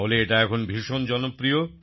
তাহলে এটা এখন ভীষণ জনপ্রিয়